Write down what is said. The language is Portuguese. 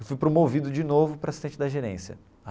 Eu fui promovido de novo para assistente da gerência.